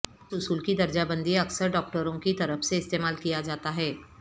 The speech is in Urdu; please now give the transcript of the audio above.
اس اصول کی درجہ بندی اکثر ڈاکٹروں کی طرف سے استعمال کیا جاتا ہے